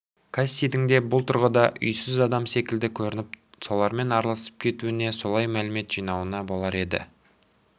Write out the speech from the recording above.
кассидің де бұл тұрғыда үйсіз адам секілді көрініп солармен араласып кетуіне солай мәлімет жинауына болар еді